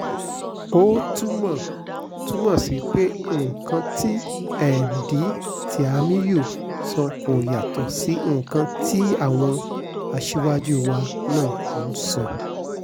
ó túmọ̀ túmọ̀ sí pé nǹkan tí emdee tìámíyù sọ kò yàtọ̀ sí nǹkan táwọn aṣáájú wa náà ń sọ